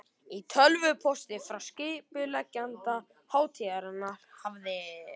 Í tölvupósti frá skipuleggjanda hátíðarinnar hafði